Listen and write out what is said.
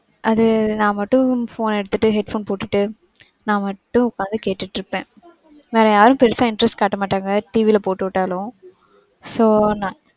அது நான் மட்டும் phone எடுத்துட்டு, head phone போட்டுட்டு நான் மட்டும் உக்காந்து கேட்டுட்டு இருப்பேன். வேற யாரும் பெருசா interest காட்ட மாட்டாங்க TV ல போட்டுவிட்டாலும் So நான்,